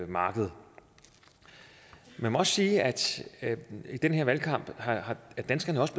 marked man må sige at i den her valgkamp er danskerne også